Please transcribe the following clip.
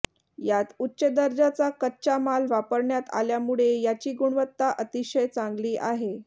यात उच्च दर्जाचा कच्चा माल वापरण्यात आल्यामुळे याची गुणवत्ता अतिशय चांगली आहे